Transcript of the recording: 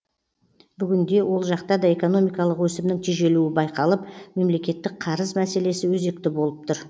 бүгінде ол жақта да экономикалық өсімнің тежелуі байқалып мемлекеттік қарыз мәселесі өзекті болып тұр